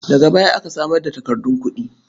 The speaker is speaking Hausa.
Daga baya aka samar da takardun kuɗi.